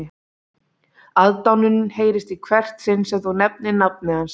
Aðdáunin heyrist í hvert sinn sem þú nefnir nafnið hans